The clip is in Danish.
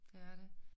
Det er det